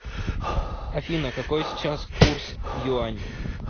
афина какой сейчас курс юань